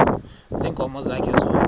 ziinkomo zakhe zonke